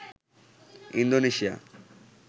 Indonesia